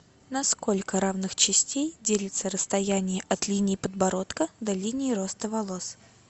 на сколько равных частей делится расстояние от линии подбородка до линии роста волос